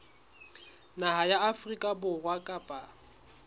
naha ya afrika borwa kapa